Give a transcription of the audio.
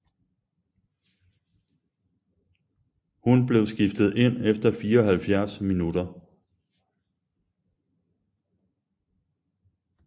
Hun blev skiftet ind efter 74 minutter